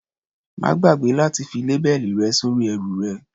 Má gbàgbé láti fi lábẹ́ẹ̀lì rẹ sórí ẹrù rẹ.